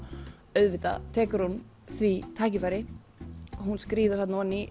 auðvitað tekur hún því tækifæri hún skríður þarna ofan í